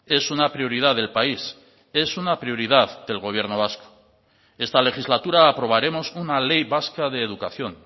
es una prioridad del país es una prioridad del gobierno vasco esta legislatura aprobaremos una ley vasca de educación